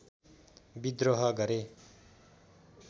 बिद्रोह गरे